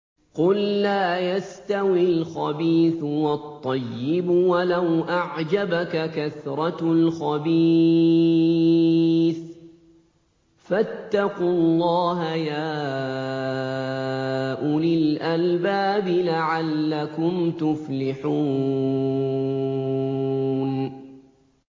قُل لَّا يَسْتَوِي الْخَبِيثُ وَالطَّيِّبُ وَلَوْ أَعْجَبَكَ كَثْرَةُ الْخَبِيثِ ۚ فَاتَّقُوا اللَّهَ يَا أُولِي الْأَلْبَابِ لَعَلَّكُمْ تُفْلِحُونَ